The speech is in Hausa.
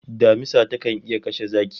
Damisa takan iya kashe zaki